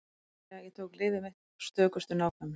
Það er að segja: Ég tók lyfið mitt af stökustu nákvæmni.